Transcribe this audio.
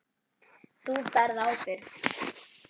Þú berð ábyrgð.